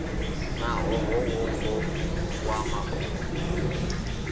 na ṱhoho ṅwongo wa mafhungo